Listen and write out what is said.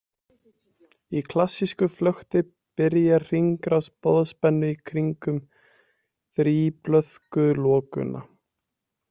Í klassísku flökti byrjar hringrás boðspennu í kringum þríblöðkulokuna.